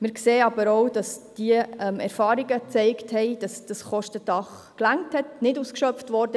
Wir sehen aber auch, dass die Erfahrungen gezeigt haben, dass dieses Kostendach gereicht hat, nicht ausgeschöpft wurde.